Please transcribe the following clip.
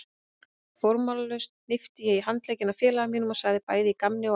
Formálalaust hnippti ég í handlegginn á félaga mínum og sagði bæði í gamni og alvöru